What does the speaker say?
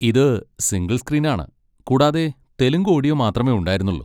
ഇത് single screen ആണ് കൂടാതെ തെലുങ്ക് ഓഡിയോ മാത്രമേ ഉണ്ടായിരുന്നുള്ളു.